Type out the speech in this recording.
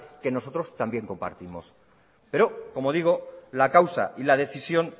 que nosotros también compartimos pero como digo la causa y la decisión